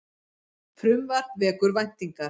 Frumvarp vekur væntingar